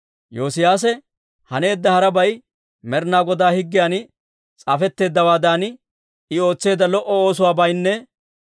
Yoosiyaase haneedda harabay, Med'inaa Godaa higgiyan s'aafetteeddawaadan I ootseedda lo"o oosuwaabaynne